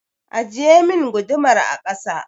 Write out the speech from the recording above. Ajiyemin gudumar a kasa!